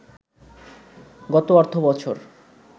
গত অর্থবছর